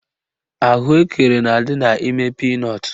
Ahụekere na-adị n'ime pinọtụ